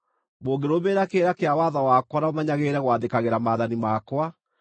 “ ‘Mũngĩrũmĩrĩra kĩrĩra kĩa watho wakwa na mũmenyagĩrĩre gwathĩkagĩra maathani makwa,